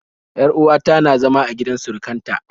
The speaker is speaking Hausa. Yar uwa ta na zama a gidan surukan ta